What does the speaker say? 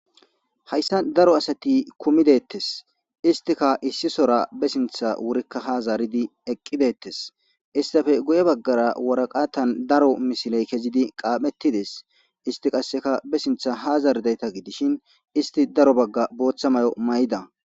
Haysan daro asati kumi detese istikka issisora be sintha wurika ha zaridi eqi detese istappe guye bagara waraqatan daro misiley kezidi qaphetides isti qasekka be sintha zaridayta gidishin isti daro baga Botha mayo mayida